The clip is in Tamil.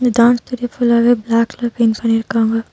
இந்த டான்ஸ் ஸ்டுடியோ ஃபுல்லாவே பிளாக் கலர் பெயிண்ட் பண்ணிருக்காங்க.